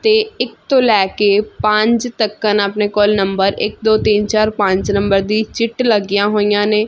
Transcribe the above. ਤੇ ਇਕ ਤੋਂ ਲੈ ਕੇ ਪੰਜ ਤੱਕਨ ਆਪਣੇ ਕੋਲ ਨੰਬਰ ਇਕ ਦੋ ਤਿੰਨ ਚਾਰ ਪੰਜ ਨੰਬਰ ਦੀ ਚਿੱਟ ਲੱਗੀਆਂ ਹੋਈਆਂ ਨੇ।